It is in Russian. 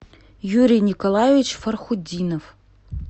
юрий николаевич фархудинов